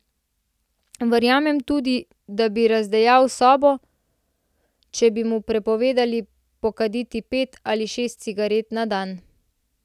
Verjamem tudi, da bi razdejal sobo, če bi mu prepovedali pokaditi pet ali šest cigaret na dan.